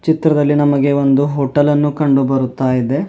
ಚಿತ್ರದಲ್ಲಿ ನಮಗೆ ಒಂದು ಹೋಟೆಲ್ ಅನ್ನು ಕಂಡು ಬರುತ್ತಾ ಇದೆ.